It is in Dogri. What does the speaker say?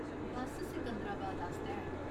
बस्स सिकंदराबाद आस्तै ऐ।